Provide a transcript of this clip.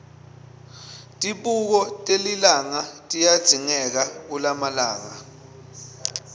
tibuko telilanga tiyadzingeka kulamalanga